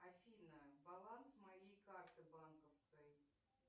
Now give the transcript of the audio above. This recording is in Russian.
афина баланс моей карты банковской